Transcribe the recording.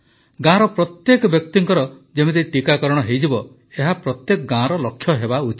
ଗାଁର ପ୍ରତ୍ୟେକ ବ୍ୟକ୍ତିର ଯେମିତି ଟିକାକରଣ ହୋଇଯିବ ଏହା ପ୍ରତ୍ୟେକ ଗାଁର ଲକ୍ଷ୍ୟ ହେବା ଉଚିତ